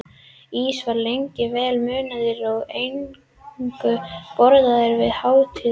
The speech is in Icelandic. Ís var lengi vel munaður og eingöngu borðaður við hátíðleg tækifæri.